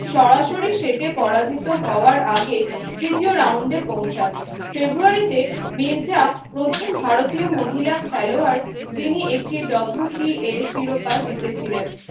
সরাসরি সেটে পরাজিত হওয়ার আগে তৃতীয় round এ পৌঁছান February তে মির্জা প্রথম ভারতীয় মহিলা খেলোয়াড় যিনি একটি শিরোপা জিতেছিলেন।